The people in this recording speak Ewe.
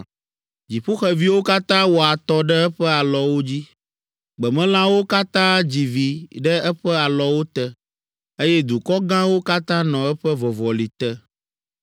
Dziƒoxeviwo katã wɔ atɔ ɖe eƒe alɔwo dzi, gbemelãwo katã dzi vi ɖe eƒe alɔwo te, eye dukɔ gãwo katã nɔ eƒe vɔvɔli te.